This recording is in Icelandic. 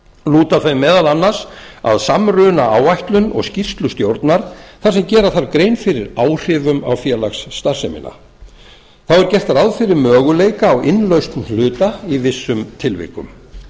lúta þau meðal annars að samrunaáætlun og skýrslu stjórnar þar sem gera þarf grein fyrir áhrifum á félagsstarfsemina þá er gert ráð fyrir möguleika á innlausn hluta í vissum tilvikum